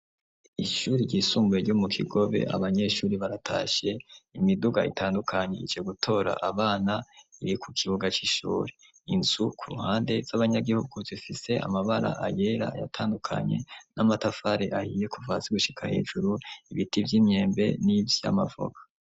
Ishure ryisumbuye ryo mu kigobe abanyeshuri baratashe imiduga itandukanye ice gutora abana iri ku kibuga cy'ishuri inzu ku ruhande z'abanyagihugu zifise amabara ayera yatandukanye n'amatafare ahiye kuvazi gushika hejuru ibiti by'imyembe n'ivyamavoka.